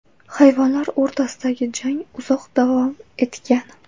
Hayvonlar o‘rtasidagi jang uzoq davom etgan.